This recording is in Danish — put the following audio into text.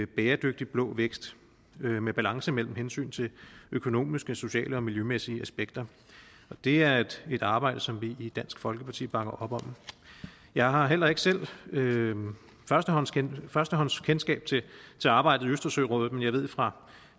bæredygtig blå vækst med med balance mellem hensynet til økonomiske sociale og miljømæssige aspekter det er et et arbejde som vi i dansk folkeparti bakker op om jeg har heller ikke selv førstehåndskendskab førstehåndskendskab til arbejdet i østersørådet men jeg ved fra